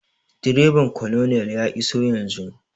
Direban colonel ya iso yanzun